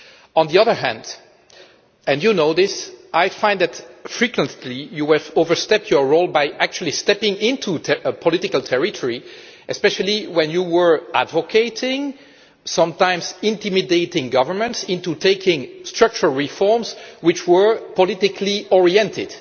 On the other hand, and you know this, I find that frequently you have overstepped your role by actually stepping into political territory, especially when you were advocating and sometimes intimidating governments into taking structural reforms which were politically oriented.